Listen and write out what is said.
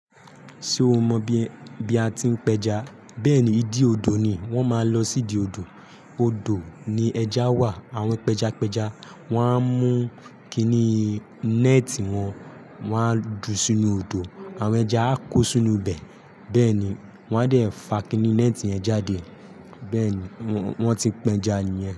Ṣé o mọ bí a ti ń pẹja? Bẹ́ẹ̀ ni, ìdí odò ni. Wọ́n máa lọ sí ìdí odò. Odò ni ẹja wà, àwọn pẹjapẹja wọ́n á mú kinní nẹ́ẹ̀tì wọn, wọ́n á ju sínú odò, àwọn ẹja á kó sínú ibẹ̀. Bẹ́ẹ̀ ni, wọ́n á dẹ̀ fa kiní nẹ́ẹ̀tì yẹn jáde. Bẹ́ẹ̀ ni, wọ́n ti pẹja nìyẹn.